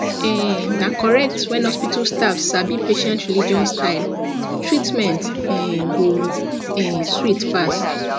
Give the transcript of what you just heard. um na correct when hospital staff sabi patient religion style treatment um go um sweet pass